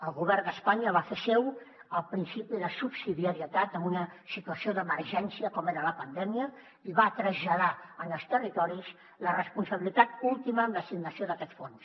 el govern d’espanya va fer seu el principi de subsidiarietat en una situació d’emergència com era la pandèmia i va traslladar en els territoris la responsabilitat última amb l’assignació d’aquest fons